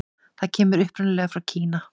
Það kemur upprunalega frá Kína.